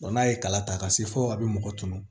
n'a ye kala ta ka se fo a bɛ mɔgɔ tɔɔnu